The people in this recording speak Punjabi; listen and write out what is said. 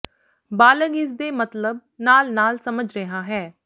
ਬਾਲਗ ਇਸ ਦੇ ਮਤਲਬ ਨਾਲ ਨਾਲ ਸਮਝ ਰਿਹਾ ਹੈ